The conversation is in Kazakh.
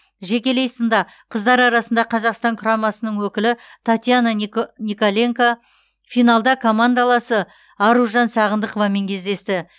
жекелей сында қыздар арасында қазақстан құрамасының өкілі татьяна нико николенка финалда командаласы аружан сағындықовамен кездесті